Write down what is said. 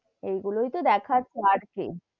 এইগুলোই তো দেখাচ্ছে আর কি?